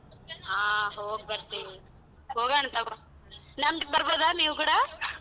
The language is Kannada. ಹಾ ಹೋಗ್ಬರ್ತೀವಿ ಹೋಗೋಣ್ ತಗೋ ನಮ್ಮ್ದಿಕ್ ಬರ್ಬೊದ ನೀವ್ ಕೂಡ?